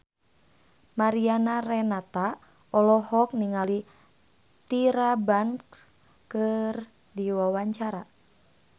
Mariana Renata olohok ningali Tyra Banks keur diwawancara